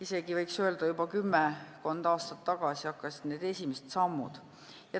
Isegi, võiks öelda, kümmekond aastat tagasi tehti need esimesed sammud.